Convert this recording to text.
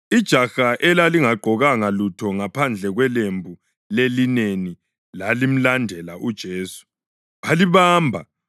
Ijaha elalingagqokanga lutho ngaphandle kwelembu lelineni lalimlandela uJesu. Balibamba,